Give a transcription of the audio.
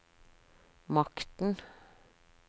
makten